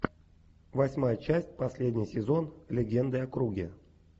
восьмая часть последний сезон легенды о круге